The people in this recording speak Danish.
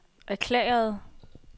erklærede